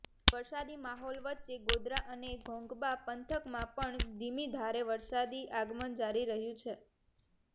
વરસાદી માહોલ વચ્ચે ગોધરા અને ઘોંઘબા પંથકમાં પણ ધીમીધારે વરસાદી આગમન જારી રહયુ હતું